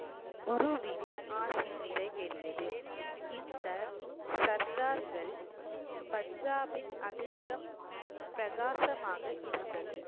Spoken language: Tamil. குருவின் ஆசி நிறைவேறியது இந்த சர்தார்கள் பஞ்சாபின் அதிர்ஷ்டம் பிரகாசமாக இருந்தது